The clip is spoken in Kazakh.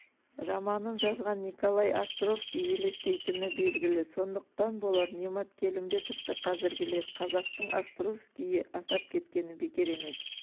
романын жазған николай островкий елестейтіні белгілі сондықтан болар немат келімбетовты қазіргілер қазақтың островскийі атап кеткені бекер емес